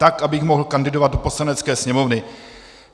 Tak abych mohl kandidovat do Poslanecké sněmovny.